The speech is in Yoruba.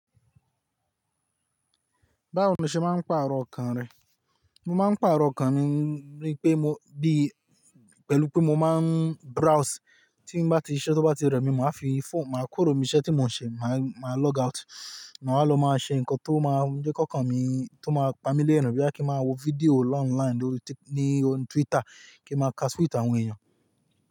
Báwo ni ṣe máa ń pàrọ̀ ọkàn rẹ? Mo máa ń pàrọ̀ ọkàn mi ní pé mo bí pẹ̀lú pé mo máa ń browse. Tí bá ti siṣẹ́ tó bá ti rẹmi, mo máa fi fónù, màá kúrò ní iṣẹ́ tí mò ń ṣe, màá log out. Maa wá lọ máa ṣe nǹkan tó máa ń jẹ́ ki okan mi, tó máa pa mi léèrin. Boya kí máa wo fídíò ni online ní Twitter kí máa ka tweet àwọn èèyàn.